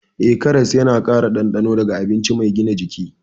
Eh, karas yana ƙara dandano ga abinci mai gina jiki.